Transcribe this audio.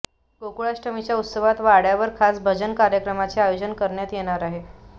गोकुळाष्टमीच्या उत्सवात वाड्यावर खास भजन कार्यक्रमाचे आयोजन करण्यात येणार आहे